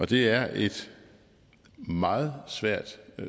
det er et meget svært